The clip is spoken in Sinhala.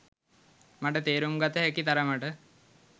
මට තේරුම් ගත හැකි තරමට